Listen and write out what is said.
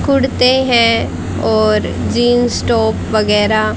कुर्ते हैं और जींस टॉप वगैरा--